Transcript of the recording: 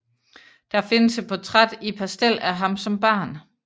Der findes et portræt i pastel af ham som barn